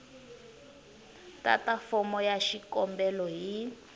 tata fomo ya xikombelo hi